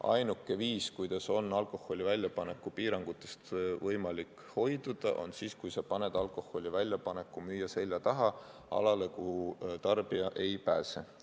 Ainuke viis alkoholi väljapaneku piirangutest hoiduda on see, kui sa paned alkoholi väljapaneku müüja selja taha, alale, kuhu tarbja ei pääse.